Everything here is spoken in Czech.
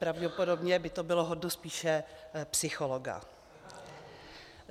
Pravděpodobně by to bylo hodno spíše psychologa.